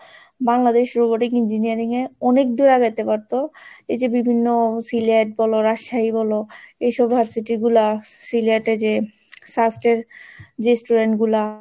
Bangladesh Robotic Engineering এ অনেক দূরে আগাইতে পারতো যে বিভিন্ন সিলেট বলো, রাজশাহী বলো এইসব varsity গুলা সিলেট এ যে স্বাস্থ্যের যে student গুলা,